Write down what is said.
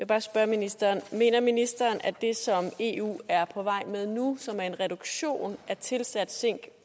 bare spørge ministeren mener ministeren at det som eu er på vej med nu som er en reduktion af tilsat zink